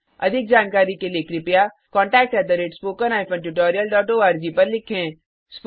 अधिक जानकारी के लिए कृपया contactspoken tutorialorg पर लिखें